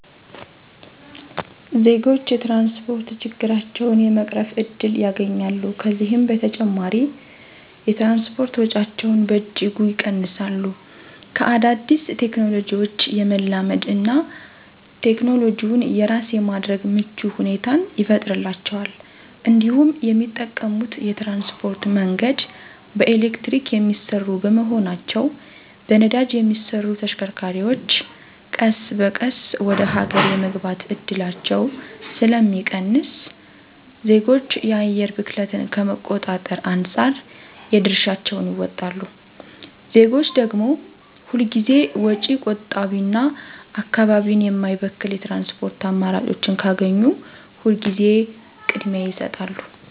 ዜጎች የትራንስፖርት ችግራቸውን የመቅረፍ እድል ያገኛሉ፤ ከዚህም በተጨማሪ የትራንስፖርት ወጪያቸውን በእጅጉ ይቀንሳሉ፤ ከአዳዲስ ቴክኖሎጂዎች የመላመድ እና ቴክኖሎጂውን የራስ የማድረግ ምቹ ሁኔታን ይፈጥርላቸዋል እንዲሁም የሚጠቀሙት የትራንስፖርት መንገድ በኤሌክትሪክ የሚሰሩ በመሆናቸው በነዳጅ የሚሰሩ ተሽከርካሪዎች ቀስ በቀስ ወደ ሀገር የመግባት እድላቸው ስለሚቀንስ ዜጎች የአየር ብክለትን ከመቆጣጠር አንፃር የድርሻቸውን ይወጣሉ። ዜጎች ደግም ሁል ጊዜ ወጪ ቆጣቢና አካባቢን የማይበክል የትራንስፖርት አማራጮችን ካገኙ ሁል ጊዜ ቅድሚያ ይሰጣሉ።